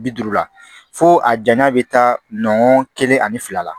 Bi duuru la fo a janya bɛ taa nɔn kelen ani fila la